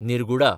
निर्गुडा